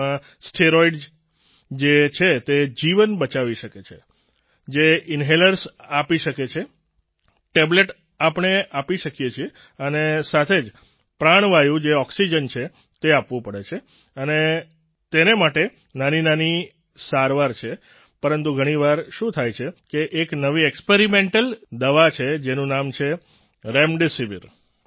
તેમાં સ્ટિરોઈડ જે છે તે જીવન બચાવી શકે છે જે ઈન્હેલર્સ આપી શકે છે ટેબ્લેટ આપણે આપી શકીએ છીએ અને સાથે જ પ્રાણવાયુ જે ઓક્સિજન છે તે આપવું પડે છે અને તેને માટે નાનીનાની સારવાર છે પરંતુ ઘણીવાર શું થાય છે કે એક નવી એક્સપેરિમેન્ટલ દવા છે જેનું નામ છે રેમડેસિવીર